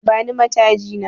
Bani mataji na